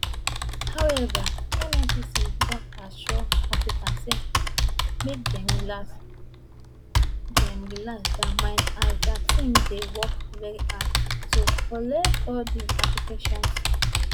however nnpc don assure applicants say make dem relax dem relax dia minds as dia team dey work very hard to collate all di applications